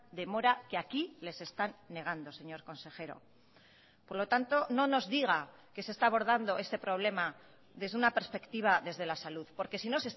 demora que aquí les están negando señor consejero por lo tanto no nos diga que se está abordando este problema desde una perspectiva desde la salud porque si no